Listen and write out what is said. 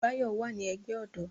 Báyọ̀ wà ní ẹgbẹ́ ọ̀dọ́